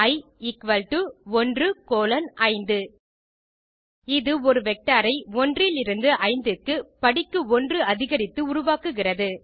E equal to 1 colon 5 இது ஒரு vector ஐ 1 இலிருந்து 5 க்கு படிக்கு 1 அதிகரித்து உருவாக்குகிறது